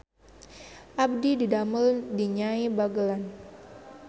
Abdi didamel di Nyai Bagelen